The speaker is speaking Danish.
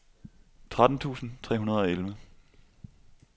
tretten tusind tre hundrede og elleve